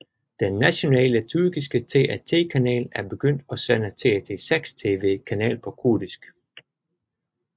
Den nationale tyrkiske TRT kanal er begyndt at sende TRT6 TV kanal på kurdisk